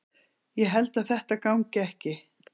Ég held að þetta gangi ekki.